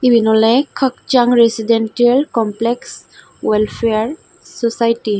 eben ola kajsang resident komplex welfare sosaity.